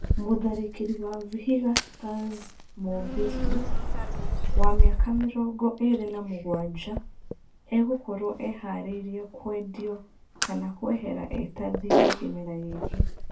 Mũtharikĩri wa Vihiga Stars Moe Billy, wa mĩaka mĩrongo ĩrĩ na mũgwanja, egũkorwo eharĩirie kwendio kana gũehera e ta thirĩ kĩmera gĩkĩ.